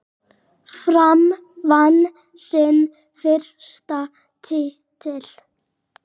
Fram vann sinn fyrsta titil.